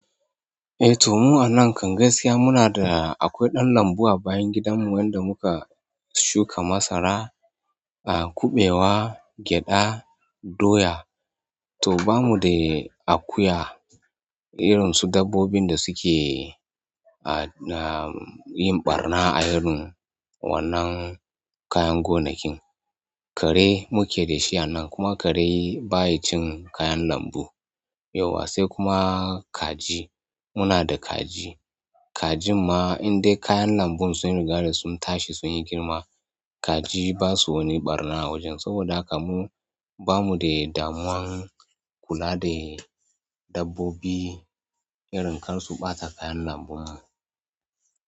Eh to mu a nan kan gaskiya muna da akwai ɗan lambu a bayan gidan mu wanda muka shuka masara, a kuɓewa, gyaɗa, doya. To bamu da akuya irin su dabbobin da suke a na yin ɓarna a irin wannan kayan gonakin. Kare mukedashi a nan kuma kare baya cin kaya lambo yauwa sai kuma kaji muna da kaji. Kajin ma in dai kayan lambun sun riga da sun tashi sun yi girma kaji basa wani ɓarna a wajen saboda haka mu bamu da damuwan kula da dabbobi irin kar su ɓata kayan lambun mu.